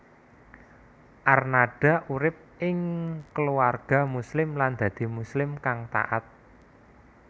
Arnada urip ing keluarga Muslim lan dadi Muslim kang taat